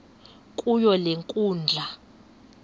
kuyo le nkundla